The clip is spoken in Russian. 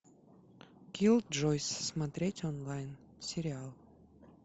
киллджойс смотреть онлайн сериал